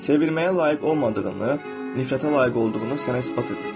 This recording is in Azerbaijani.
Sevilməyə layiq olmadığını, nifrətə layiq olduğunu sənə isbat edəcək.